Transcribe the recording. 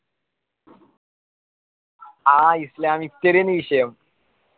ആ islamic study ഏന് വിശെയോ